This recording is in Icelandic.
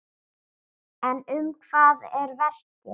En um hvað er verkið?